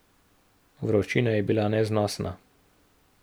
Vročina je bila neznosna.